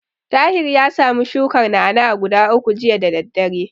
Tahir ya samu shukar na'a-na'a guda uku jiya da daddare.